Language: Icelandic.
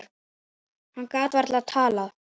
Hann gat varla talað.